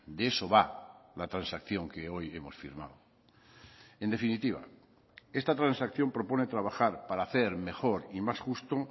de eso va la transacción que hoy hemos firmado en definitiva esta transacción propone trabajar para hacer mejor y más justo